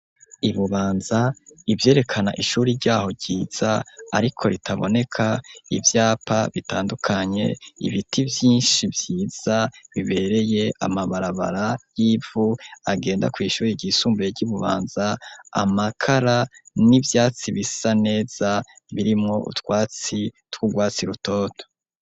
Ibubanza, ivyerekana ishuri ryaho ryiza ariko ritaboneka ivyapa bitandukanye, ibiti vyinshi vyiza bibereye amabarabara y'ivu agenda kw'ishure ryisumbuye ry'Ibubanza, amakara n'ivyatsi bisa neza birimwo utwatsi tw'ubwatsi rutoto.